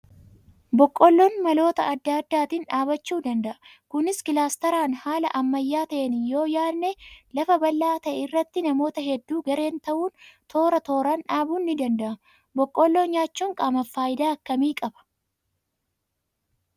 Boqqoolloon maloota adda addaatiin dhaabbachuu danda'a. Kunis kilaastaraan haala ammayyaa ta'een yoo yaadne lafa bal'aa ta'e irratti namoota hedduu gareen ta'uun toora tooraan dhaabuun ni danda'ama. Boqqoolloo nyaachuun qaamaaf fayidaa akkamii qaba?